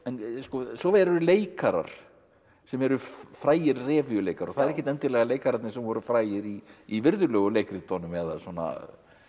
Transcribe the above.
svo eru leikarar sem eru frægir revíuleikarar og það eru ekki endilega leikararnir sem voru frægir í í virðulegu leikritunum eða svona